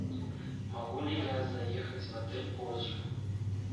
могу ли я заехать в отель позже